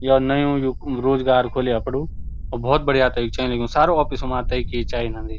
यो नयु यु रोजगार खोली अपड़ु और भोत बढ़िया तैक चलन लग्युं सारु ऑफिसों मा तैकी चाय औंदी।